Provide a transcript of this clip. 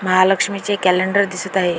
महालक्ष्मी चे कॅलेंडर दिसत आहे.